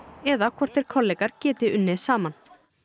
eða hvort þeir kollegar geti unnið saman